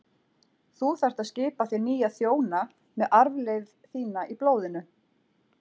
Þú þarft að skipa þér nýja þjóna með arfleifð þína í blóðinu.